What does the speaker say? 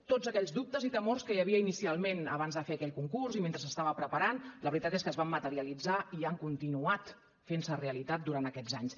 tots aquells dubtes i temors que hi havia inicialment abans de fer aquell concurs i mentre s’estava preparant la veritat és que es van materialitzar i han continuat fent se realitat durant aquests anys